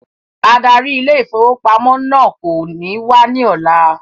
Adarí ile-ìfowópamó náà kò ní wá ní ọ̀la